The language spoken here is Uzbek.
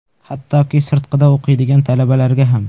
Hattoki sirtqida o‘qiydigan talabalarga ham.